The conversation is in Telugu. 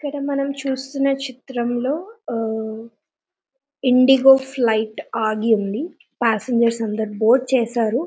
ఇక్కడ మనము చూస్తున చిత్రమ్ లో ఓ ఇండిగో ఫ్లైట్ ఆగివుంది ప్యాసెంజర్లు అందరు బోర్డు చేశారు.